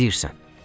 Nə deyirsən?